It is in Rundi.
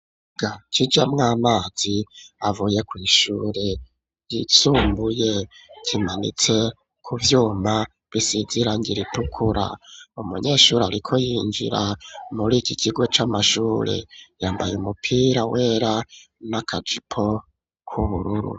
kijamw'amazi avuye ku ishuri yisumbuye kimanitse ku vyuma bisize irangira ritukura umunyeshuri ariko yinjira muri iki kigo cy'amashuri yambaye umupira wera n'akajipo k'ubururu